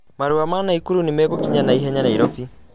marũa ma Naikuru nĩ megũkinya naihenya Nairobi